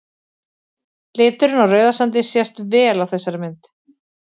liturinn á rauðasandi sést vel á þessari mynd